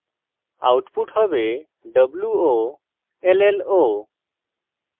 output হবে wollo